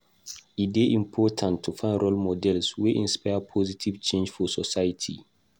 E dey important to find role models wey inspire positive change for society.